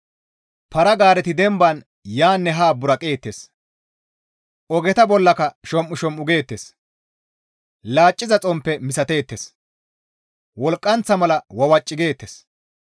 Para-gaareti demban yaanne haa buraqeettes; ogeta bollaka shom7ushom7u geettes; laciza xomppe misateettes; wolqqanththa mala wawaci geettes.